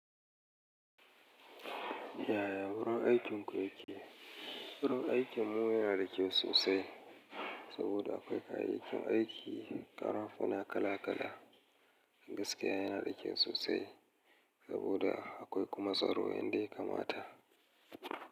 Yaya wurin aikinku yake? Wurin aikinmu yana da kyau sosai saboda akwai kayayyakin aiki, ƙarafuna kala-kala, gaskiya yana da kyau sosai saboda akwai kuma tsaro yadda ya kamata.